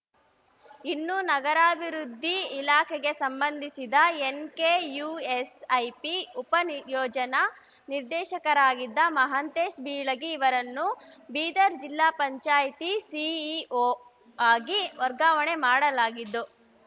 ಇನ್ನು ನಗರಾಭಿವೃದ್ಧಿ ಇಲಾಖೆಗೆ ಸಂಬಂಧಿಸಿದ ಎನ್‌ಕೆಯುಎಸ್‌ಐಪಿ ಉಪ ಯೋಜನಾ ನಿರ್ದೇಶಕರಾಗಿದ್ದ ಮಹಾಂತೇಶ ಬಿಳಗಿ ಅವರನ್ನು ಬೀದರ್‌ ಜಿಲ್ಲಾ ಪಂಚಾಯ್ತಿ ಸಿಇಒ ಆಗಿ ವರ್ಗಾವಣೆ ಮಾಡಲಾಗಿದ್ದು